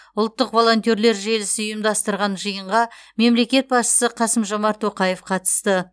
ұлттық волонтерлер желісі ұйымдастырған жиынға мемлекет басшысы қасым жомарт тоқаев қатысты